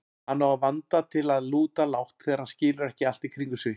Hann á vanda til að lúta lágt þegar hann skilur ekki allt í kringum sig.